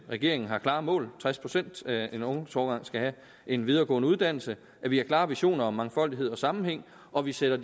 regeringen har klare mål altså tres procent af en ungdomsårgang skal have en videregående uddannelse vi har klare visioner om mangfoldighed og sammenhæng og vi sætter